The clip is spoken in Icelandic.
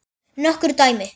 Nokkur dæmi